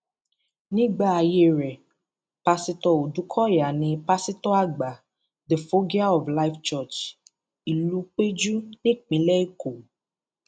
nígbà ààyè rẹ pásítọ ọdùkọyà ní pásítọ àgbà the foggia of life church ìlúpẹjù nípìnlẹ èkó